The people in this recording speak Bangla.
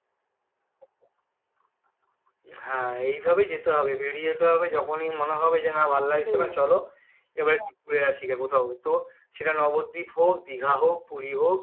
হ্যাঁ এই ভাবেই যেতে হবে বেরিয়ে যেতে হবে যখনই মনে হবে যে আর ভালো লাগছে না চলো এবার একটু ঘুরে আসিগা কোথাও তো সেটা নবদ্বীপ হোক দীঘা হোক পুরি হোক